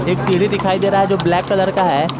एक सीढ़ी दिखाई दे रहा है जो ब्लैक कलर का है।